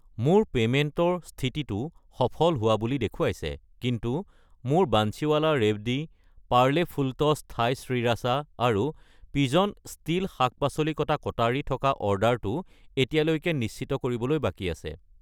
মোৰ পে'মেণ্টৰ স্থিতিটো সফল হোৱা বুলি দেখুৱাইছে, কিন্তু মোৰ Bansiwala Rewdi , Parle Fulltoss Thai sriracha আৰু পিজন ষ্টীল শাক-পাচলি কটা কটাৰী থকা অৰ্ডাৰটো এতিয়ালৈকে নিশ্চিত কৰিবলৈ বাকী আছে।